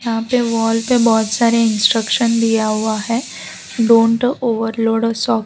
यहां पे वॉल पे बहोत सारे इंस्ट्रक्शन दिया हुआ है डॉन'ट ओवरलोड सब --